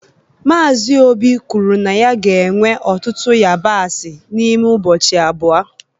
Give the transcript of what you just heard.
Mazị obi kwuru na ya ga-ewe ọtụtụ yabasị n'ime ụbọchị abụọ